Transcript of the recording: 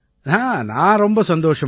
நான் ரொம்ப சந்தோஷமா இருக்கேன்